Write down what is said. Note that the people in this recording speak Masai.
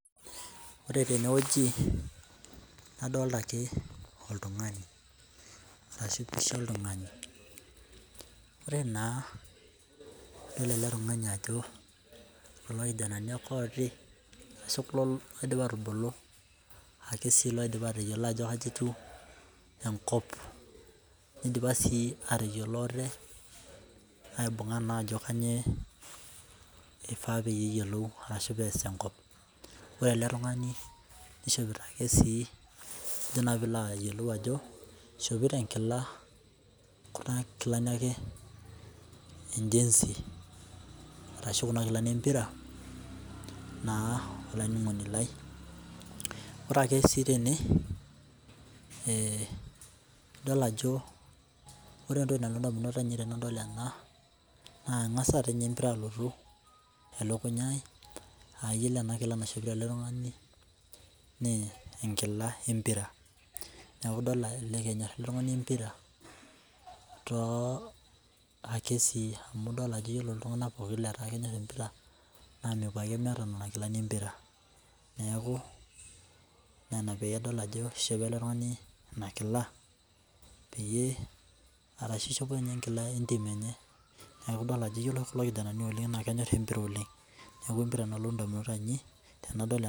Ore teneweji nadolita ake oltungani, ashu mpisha oltungani. Ore naa idol ale tungani ajo kulo lkijananai ake oopi ashu kulo oidipa aatubulu aaku sii eidipa atoyiolo ajo kaji etiu enkop, neidipa sii ateyiolo ate aibung'a naa ajo kanyioo eifaa peyie iyiolou ashu pees tenkop. Ore ale tungani neishopito ake sii ajo sii pilo ayiolou ajo eishopito enkila kuna enkilani ake enjesi arasu kuna inkilani empira naa olainingoni lai. Ore ake sii tene, idol ajo e ntokitin nalotu indamunot ainei tanadol ena naa engas ninye empira alotu olokunyai, aa iyolo ana nkila naishopito ale tungani nee enkila empira. Naaku idol elekenya iltungani impira too ake sii idol ajo iyiolo iltungania pooki ajo etekenya ilpira, naa mepo ake emeeta nena nkilani empira, neaku nena piidol ajo eishopo ilo tungani nena nkila peyie arashu eishopo ninye nkila entiim enye, neaku idolo ajo eyiolo oshi kulo ilkijanani oleng naa kenyorr empira oleng, neaku empira nalotu indamunot ainei tenadol ena.